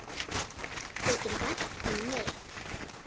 Honum þykir vænt um mig.